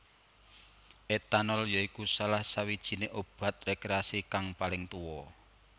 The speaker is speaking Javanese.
Etanol ya iku salah sawijiné obat rekreasi kang paling tuwa